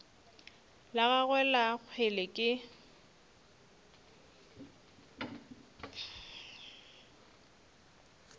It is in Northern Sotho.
la gagwe la kgwele ke